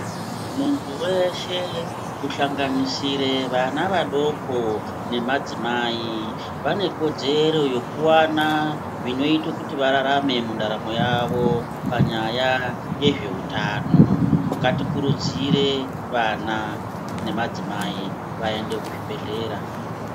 Muntu wese kuhlanganisire vana vadoko nemadzimai ,vane kodzero yekuwana zvinoita kuti vararame mundaramo mavo panyaya yezveutano, ngatikurudzire vana nemadzimai vaende kuzvibhedhlera.